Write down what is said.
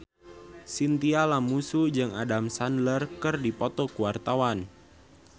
Chintya Lamusu jeung Adam Sandler keur dipoto ku wartawan